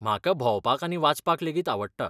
म्हाका भोंवपाक आनी वाचपाक लेगीत आवडटा.